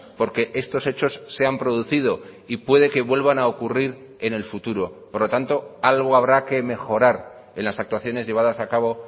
porque estos hechos se han producido y puede que vuelvan a ocurrir en el futuro por lo tanto algo habrá que mejorar en las actuaciones llevadas a cabo